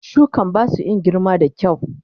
Shukan basu in girma da kyau.